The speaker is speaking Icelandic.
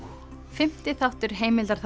fimmti þáttur